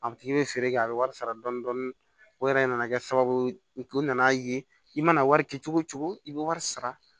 A tigi bɛ feere kɛ a bɛ wari sara dɔɔnin dɔɔnin o yɛrɛ nana kɛ sababu ye u nana ye i mana wari kɛ cogo o cogo i bɛ wari sara